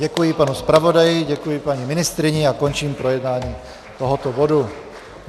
Děkuji panu zpravodaji, děkuji paní ministryni a končím projednávání tohoto bodu.